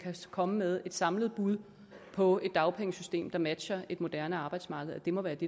komme med et samlet bud på et dagpengesystem der matcher et moderne arbejdsmarked det må være det